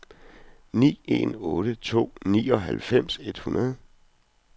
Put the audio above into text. ni en otte to nioghalvfems et hundrede